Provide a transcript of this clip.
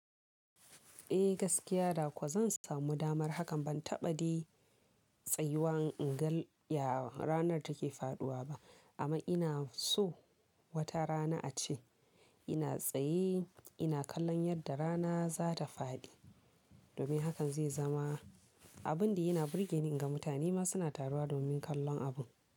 Eh gaskiya da kuwa zan samu damar hakan ban taɓa dai tsayuwa ingal ya ranar take faɗuwa ba amma ina so wata rana ace ina tsaye ina kallon yadda rana zata faɗi. Domin hakan zai zama abun da yana birgeni in ga mutane ma suna taruwa domin kallon abun.